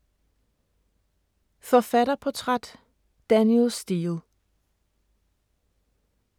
Forfatterportræt: Danielle Steel